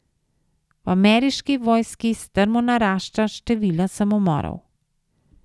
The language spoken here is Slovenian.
V ameriški vojski strmo narašča število samomorov.